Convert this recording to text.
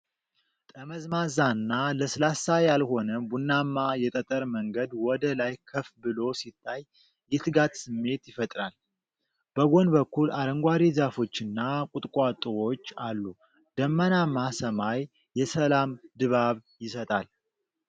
ጠመዝማዛና ለስላሳ ያልሆነ ቡናማ የጠጠር መንገድ ወደ ላይ ከፍ ብሎ ሲታይ የትጋት ስሜትን ይፈጥራል። በጎን በኩል አረንጓዴ ዛፎችና ቁጥቋጦዎች አሉ፣ ደመናማ ሰማይ የሰላም ድባብ ይሰጣል።